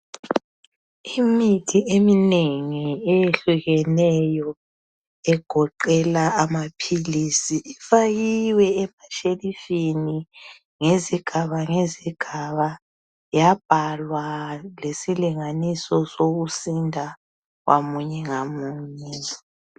Imithi eminengi eyehlukeneyo egoqela amaphilisi ifakiwe emashelifini ngezigaba ngezigaba yabhalwa lesilinganiso sokusinda ngamunye ngamunye